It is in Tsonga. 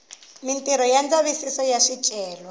mitirho ya ndzavisiso wa swicelwa